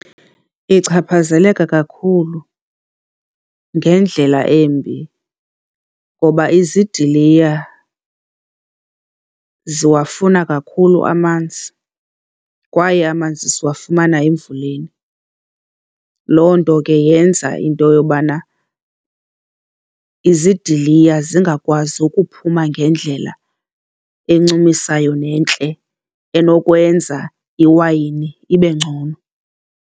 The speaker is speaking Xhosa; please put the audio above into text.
Ichaphazeleka kakhulu ngendlela embi ngoba izidiliya ziwafuna kakhulu amanzi kwaye amanzi siwafumana emvuleni. Loo nto ke yenza into yobana izidiliya zingakwazi ukuphuma ngendlela encumisayo nentle enokwenza iwayini ibe ngcono.